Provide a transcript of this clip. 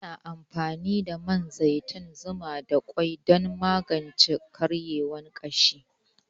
Ana amfani da man zaitun, zuma da kwai dan magance karyewan gashi